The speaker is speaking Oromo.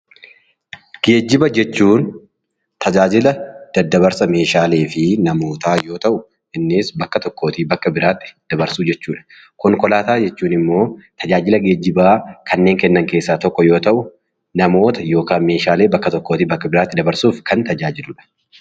Geejjiba jechuun tajaajila daddabarsa meeshaalee fi namootaa yoo ta'u, innis bakka tokkoo bakka biraatti dabarsuu jechuudha. Konkolaataa jechuun immoo tajaajila geejjibaa kanneen kennan keessaa tokko yoo ta'u, namoota yookaan meeshaalee bakka tokkoo bakka biraatti dabarsuuf kan tajaajiludha.